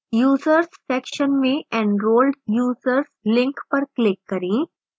users section में enrolled users link पर click करें